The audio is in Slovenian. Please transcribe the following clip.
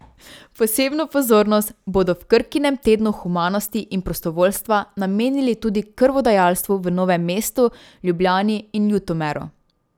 Posebno pozornost bodo v Krkinem tednu humanosti in prostovoljstva namenili tudi krvodajalstvu v Novem mestu, Ljubljani in Ljutomeru.